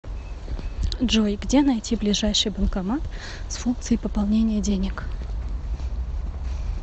джой где найти ближайший банкомат с функцией пополнения денег